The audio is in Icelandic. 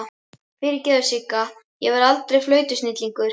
Fyrirgefðu Sigga, ég verð aldrei flautusnillingur.